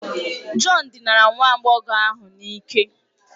John dinara nwa agbọghọ ahụ n'ike